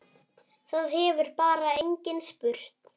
Það hefur bara enginn spurt